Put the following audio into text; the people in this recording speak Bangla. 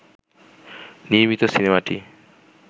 নির্মিত সিনেমাটি